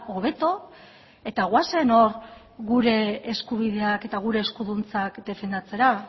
hobeto eta goazen hor gure eskubideak eta gure eskuduntzak defendatzera